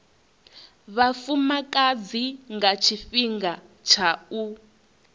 vhafumakadzi nga tshifhinga tsha u